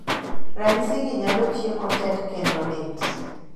ranyisi gi nyalo chiemo tek kendo lit